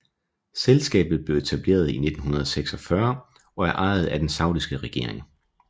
Selskabet blev etableret i 1946 og er ejet af den saudiske regering